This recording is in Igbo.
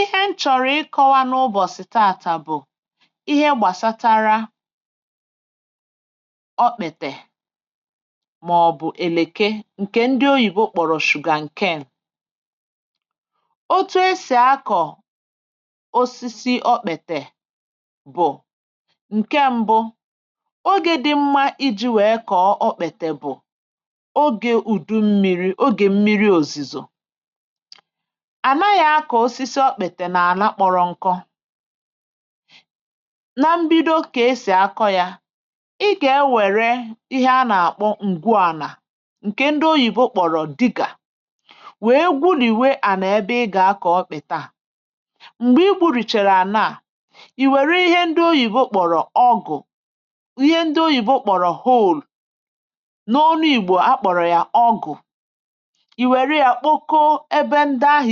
ihe m chọ̀rọ̀ ịkọwa n’ụbọ̀sị̀ taa bụ̀ ihe gbàsatara opetè màọbụ̀ èlèkè ǹkè ndị oyìbo kpọ̀rọ̀ sugar um ǹkeè otu esì akọ̀ osisi okpètè bụ̀ ǹke mbụ ogè dị mma iji̇ wèe kọ̀ọ okpètè bụ̀ ogè ùdu mmiri̇ ogè mmiri òzìzò ihe akọ osisi ọkpète na-ana kpọrọ nkọ na mbido ka esi akọ ya ị ga-ewere ihe anà-akpọ ǹgwuànà ǹke ndị oyìbo kpọrọ digger wee gwulìwe ànà ebe ị gà-akọọ kpọkpeta à m̀gbè i gburùchàrà nà à ì wère ihe ndị oyìbo kpọrọ hoe ihe ndị oyìbo kpọrọ hole n’ọnụ ìgbò akpọrọ yà ọgụ̀ ǹkè